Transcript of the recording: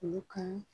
Olu kan